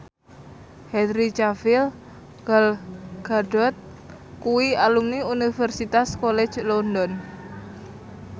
Henry Cavill Gal Gadot kuwi alumni Universitas College London